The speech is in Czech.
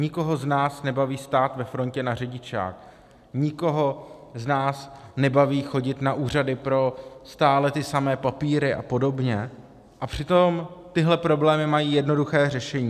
Nikoho z nás nebaví stát ve frontě na řidičák, nikoho z nás nebaví chodit na úřady pro stále ty samé papíry a podobně, a přitom tyhle problémy mají jednoduché řešení.